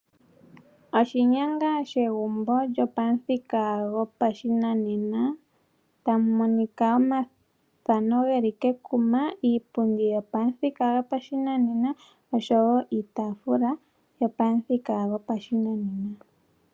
Oshinyanga shegumbo lyopamuthika gopashinanena tamu monika omathano ge li kekuma, iipundi yopamuthika yopashinanena osho wo iitafula yopamuthika gopashinanena.